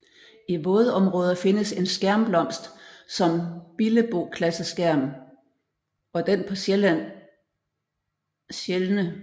I vådområder findes en skærmblomst som billeboklaseskærm og den på Sjælland sjældne søpryd